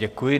Děkuji.